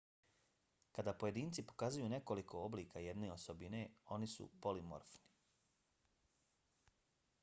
kada pojedinci pokazuju nekoliko oblika jedne osobine oni su polimorfni